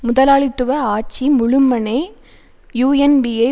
முதலாளித்துவ ஆட்சி முழுமனே யூஎன்பியை